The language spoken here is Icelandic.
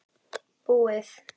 Búið!